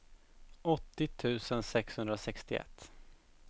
åttio tusen sexhundrasextioett